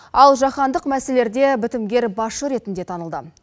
ал жаһандық мәселелерде бітімгер басшы ретінде танылды